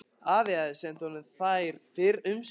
Afi hafði sent honum þær fyrr um sumarið.